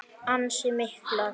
Ansi miklar.